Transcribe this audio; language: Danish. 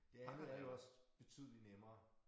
Det andet er jo også betydelig nemmere